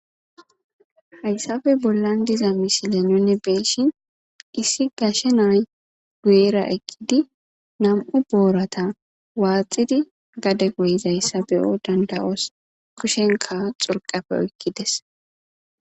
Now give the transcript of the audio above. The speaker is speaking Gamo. haysappe bollan diza misile nune beyishin issi gashe nay gu7era eqqidi nam7u boorata waaxidi gade goyizayssa beyo danda7os kushenka xurqafe oykkides